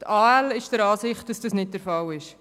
Die AL ist der Ansicht, dass das nicht der Fall ist.